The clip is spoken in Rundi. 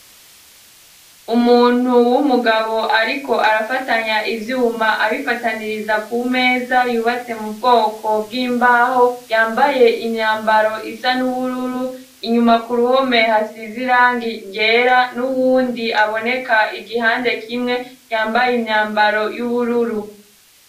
Umuntu w'umugabo ariko arafatanya ivyuma abifataniriza ku meza yubatse mu bwoko bw'imbaho yambaye imyambaro isa n'ubururu inyuma ku ruhomeha hasize irangi ryera n'uwundi aboneka igihande kimwe yambaye imyambaro y'ubururu.